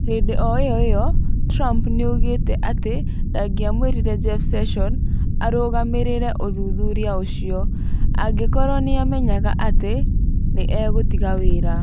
Hindi o ĩyo ĩyo, Trump nĩ oigĩte atĩ ndangĩamũrire Jeff Sessions arũgamĩrĩre ũthuthuria ũcio. Angĩkorũo nĩ aamenyaga atĩ nĩ egũtiga wĩra.